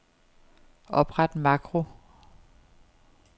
Opret makro.